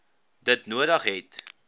dit nodig het